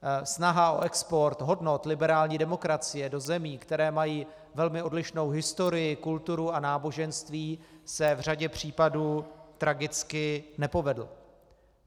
Snaha o export hodnot liberální demokracie do zemí, které mají velmi odlišnou historii, kulturu a náboženství, se v řadě případů tragicky nepovedla.